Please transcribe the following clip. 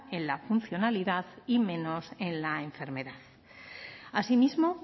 en la funcionalidad y menos en la enfermedad asimismo